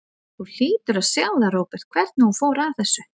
Þú hlýtur að sjá það, Róbert, hvernig hún fór að þessu.